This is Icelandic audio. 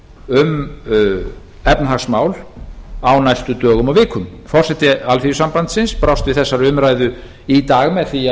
samráði um efnahagsmál á næstu dögum og vikum forseti alþýðusambandsins brást við þessari umræðu í dag með því